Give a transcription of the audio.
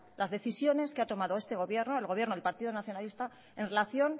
las decisiones que ha tomado este gobierno el gobierno del partido nacionalista en relación